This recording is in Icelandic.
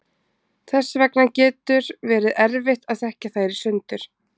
þess vegna getur verið erfitt að þekkja þær í sundur